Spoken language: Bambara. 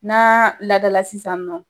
N'a ladala sisannɔ.